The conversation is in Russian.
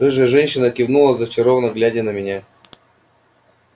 рыжая женщина кивнула зачарованно глядя на меня